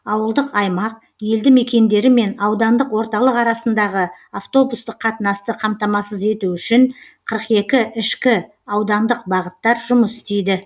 ауылдық аймақ елді мекендері мен аудандық орталық арасындағы автобустық қатынасты қамтамасыз ету үшін қырық екі ішкі аудандық бағыттар жұмыс істейді